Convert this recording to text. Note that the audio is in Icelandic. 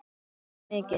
Og fer mikinn.